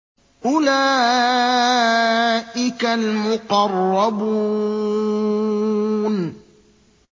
أُولَٰئِكَ الْمُقَرَّبُونَ